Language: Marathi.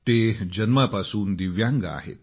ते जन्मापासून दिव्यांग आहेत